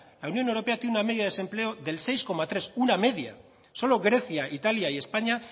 la unión europea tiene una media de desempleo del seis coma tres una media solo grecia italia y españa